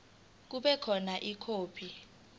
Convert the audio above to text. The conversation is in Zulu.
kube khona ikhophi